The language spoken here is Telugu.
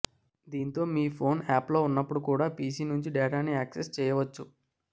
దీంతో మీ ఫోన్ ఆఫ్లో ఉన్నప్పుడు కూడా పీసీ నుంచి డేటాని యాక్సెస్ చేయవచ్చు